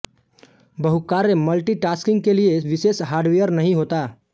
बहुकार्य multitasking के लिये विशेष हार्डवेयर नहीं होता